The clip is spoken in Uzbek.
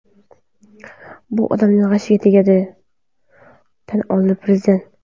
Bu odamning g‘ashiga tegadi”, tan oldi prezident.